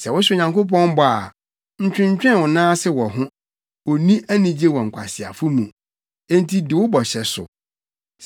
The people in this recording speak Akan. Sɛ wohyɛ Onyankopɔn bɔ a, ntwentwɛn wo nan ase wɔ ho. Onni anigye wɔ nkwaseafo mu; enti di wo bɔhyɛ so.